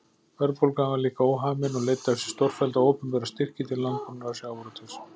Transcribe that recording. Verðbólgan var líka óhamin og leiddi af sér stórfellda opinbera styrki til landbúnaðar og sjávarútvegs.